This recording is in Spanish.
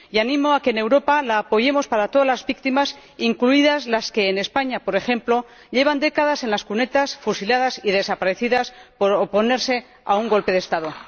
Y animo a que, en Europa, lo apoyemos para todas la víctimas, incluidas las que en España, por ejemplo, llevan décadas en las cunetas, fusiladas y desaparecidas, por oponerse a un golpe de Estado.